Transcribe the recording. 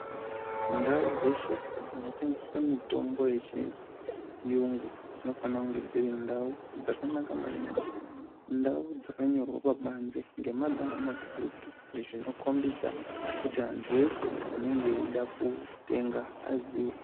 Ndao dzeshe dzinotengeswa mitombo yechirungu dzinofana kunge dziri ndao dzakanaka maningi ndao dzakanyorwa pabanze ngemagamba makuru zvinokombedza veshe vanenge veida kutenga vazive .